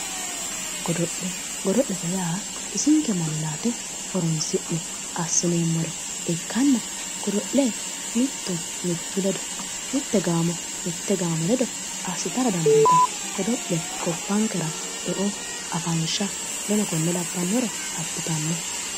Godo'le godo'lete yaa bisinke manninaate horonsi'ne assineemmore ikkitanna godo'le mittu mittu ledo mitte gaamo mitte gaamo ledo assitara dandiitanno godo'le gobbankera eo afansha woleno konne labnannore abbitanno